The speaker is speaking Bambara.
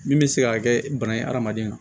Min bɛ se ka kɛ bana ye adamaden na